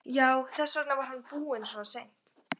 Já, þess vegna var hann búinn svona seint.